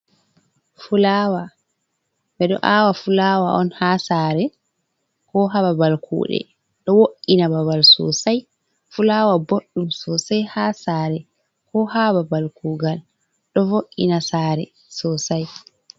Fulawa. Beɗo aawa fulawa on ha sare, ko ha babal kudɗe. Ɗo wo’’ina babal sosai l. Fulawa boɗɗum sosai ha sare ko ha babal kugal ɗo vo’’ina sare sosai.